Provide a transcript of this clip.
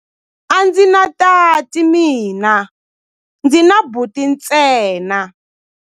A ndzi na tati mina, ndzi na buti ntsena.